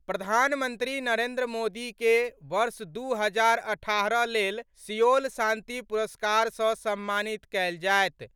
प्रधानमंत्री नरेन्द्र मोदी के वर्ष दू हजार अठारह लेल सिओल शांति पुरस्कार सॅ सम्मानित कयल जायत।